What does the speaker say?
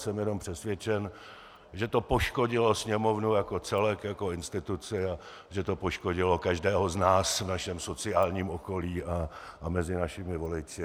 Jsem jenom přesvědčen, že to poškodilo Sněmovnu jako celek, jako instituci, a že to poškodilo každého z nás v našem sociálním okolí a mezi našimi voliči.